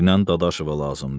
Dinən Dadaşova lazımdır.